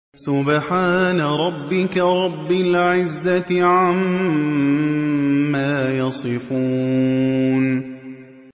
سُبْحَانَ رَبِّكَ رَبِّ الْعِزَّةِ عَمَّا يَصِفُونَ